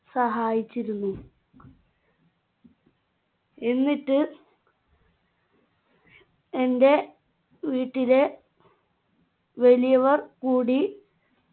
സഹായിച്ചിരുന്നു എന്നിട്ട് എന്റെ വീട്ടിലെ വലിയവർ കൂടി